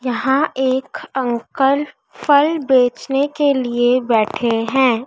यहां एक अंकल फल बेचने के लिए बैठे हैं।